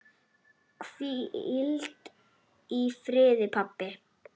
Hvíl í friði, pabbi.